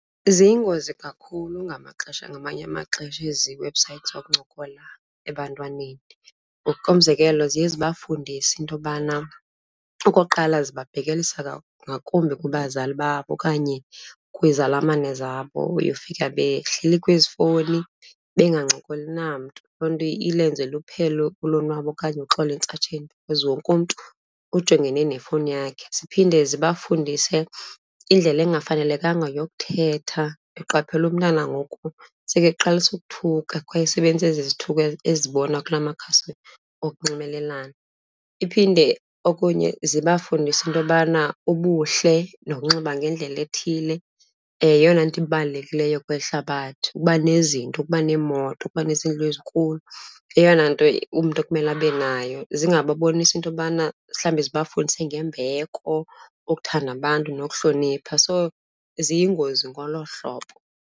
Ziyingozi kakhulu ngamaxesha, ngamanye amaxesha ezi webhusayithi zokuncokola ebantwaneni. Ngokomzekelo, ziye zibafundise into yobana, okokuqala ziba bhekelisa ngakumbi kubazali babo okanye kwizalamane zabo. Uyofika behleli kwezi fowuni bengancokoli namntu, loo nto ilenze luphele ulonwabo okanye uxolo entsatsheni because wonke umntu ujongene nefowuni yakhe. Ziphinde zibafundise indlela engafanelekanga yokuthetha. Ndiqaphela umntana ngoku sekeqalisa ukuthuka kwaye esebenzisa ezi zithuko azibona kula makhasi okunxibelelana. Iphinde okunye zibafundise into yobana ubuhle nokunxiba ngendlela ethile yeyona nto ibalulekileyo kweli hlabathi. Ukuba nezinto, ukuba neemoto, ukuba neezindlu ezinkulu yeyona nto umntu kumele abe nayo. Zingababonisi into yobana mhlawumbi zibafundise ngembeko, ukuthanda abantu nokuhlonipha. So, ziyingozi ngolo hlobo.